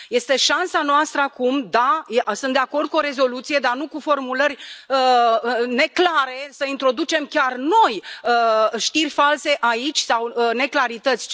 Este șansa noastră acum. Da, sunt de acord cu o rezoluție, dar nu cu formulări neclare, să introducem chiar noi știri false aici sau neclarități.